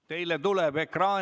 Teid on kuulda!